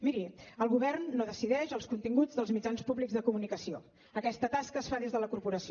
miri el govern no decideix els continguts dels mitjans públics de comunicació aquesta tasca es fa des de la corporació